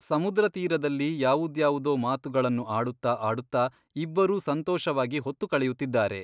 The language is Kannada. ಸಮುದ್ರ ತೀರದಲ್ಲಿ ಯಾವುದ್ಯಾವುದೋ ಮಾತುಗಳನ್ನು ಆಡುತ್ತ ಆಡುತ್ತ ಇಬ್ಬರೂ ಸಂತೋಷವಾಗಿ ಹೊತ್ತು ಕಳೆಯುತ್ತಿದ್ದಾರೆ.